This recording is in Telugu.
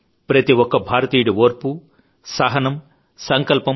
ప్రతిఒక్క భారతీయుడి ఓర్పూ సహనం సంకల్పం